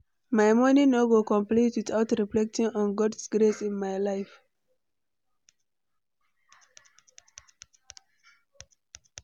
My morning no go complete without reflecting on God's grace in my life.